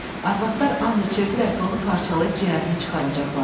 Arvadlar and içirdilər ki, onu parçalayıb, ciyərini çıxaracaqlar”.